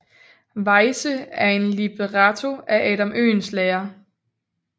Weyse til en libretto af Adam Oehlenschläger